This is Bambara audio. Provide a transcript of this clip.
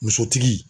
Musotigi